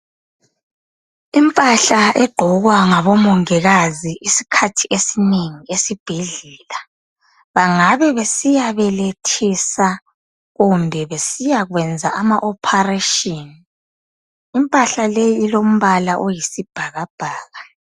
Impahla egqokwa ngabomongikazi isikhathi esinengi esibhedlela bangabe besiyabelethisa kumbe besiyakwenza ama opharetshini, impahla leyi ilombala oyisibhakabhaka.